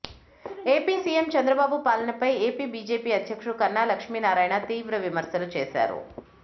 AP CM Chandrababu పాలనపై AP BJP అధ్యక్షుడు కన్నా లక్ష్మీనారాయణ తీవ్ర విమర్శలు చేశారు